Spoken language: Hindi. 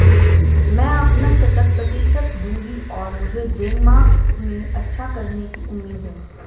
मैं अपना शतक प्रतिशत दूंगी और मुझे डेनमार्क में अच्छा करने की उम्मीद है